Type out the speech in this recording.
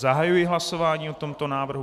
Zahajuji hlasování o tomto návrhu.